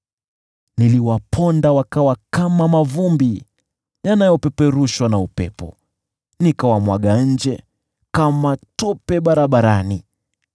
Niliwaponda kama mavumbi yanayopeperushwa na upepo; niliwamwaga nje kama tope barabarani.